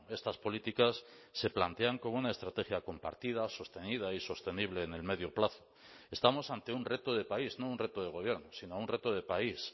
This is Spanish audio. estas políticas se plantean como una estrategia compartida sostenida y sostenible en el medio plazo estamos ante un reto de país no un reto de gobierno sino un reto de país